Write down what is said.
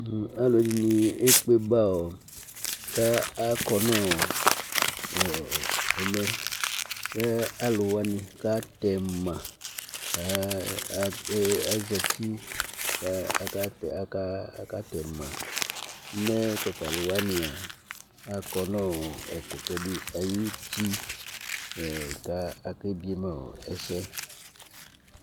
alu ɛdini ékpé ba ka akɔ nu ɛmɛ ku alu wani ka tɛma azɛti akatɛ ma mɛ tata lu wania akɔ nu ɛkutɛ di ayu uti ka aké biéma ɛsɛ